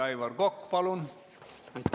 Aivar Kokk, palun!